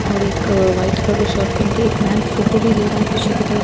और एक क वाइट कलर का शर्ट पेहेन के एक फैन फोटो भी ले रहा हैं पीछे की तरफ --